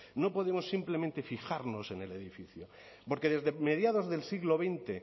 no podemos simplemente fijarnos en el edificio porque desde mediados del siglo veinte